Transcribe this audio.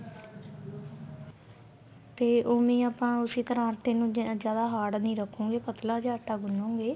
ਤੇ ਉਵੇ ਈ ਆਪਾਂ ਉਸੀ ਤਰ੍ਹਾਂ ਆਟੇ ਨੂੰ ਜਿਆਦਾ hard ਨੀ ਰਖੋਗੇ ਪਤਲਾ ਜਾ ਆਟਾ ਗੁੰਨੋਗੇ